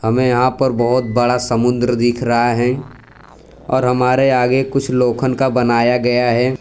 हमें यहां पर बहोत बड़ा समुद्र दिख रहा है और हमारे आगे कुछ लोखन का बनाया गया है।